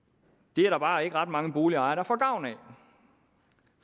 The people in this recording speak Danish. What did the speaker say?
det er der bare ikke ret mange boligejere der får gavn af